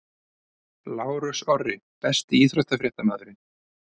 Lárus Orri Besti íþróttafréttamaðurinn?